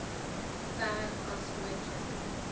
ver as moontlik